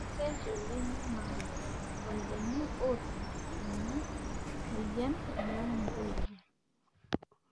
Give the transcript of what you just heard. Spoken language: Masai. kesesh oleng aa irpayiani ootum ena moyian alang' intoyie.